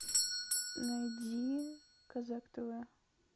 найди казак тв